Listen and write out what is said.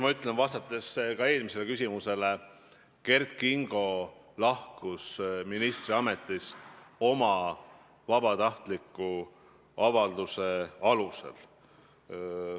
Ma ütlen veel kord, vastates ka eelmisele küsimusele, et Kert Kingo lahkus ministriametist oma vabatahtliku avalduse alusel.